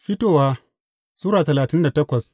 Fitowa Sura talatin da takwas